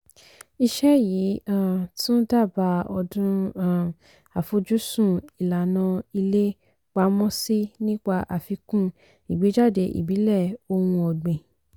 iṣẹ́ yìí um tún dábàá ọdún um àfojúsùn ìlànà ilé pamọ́sí nípa àfikún ìgbéjáde ìbílẹ̀ ohun ọ̀gbìn.